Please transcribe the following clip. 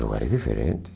Em lugares diferentes.